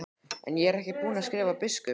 En ég er ekki búinn að skrifa biskupnum.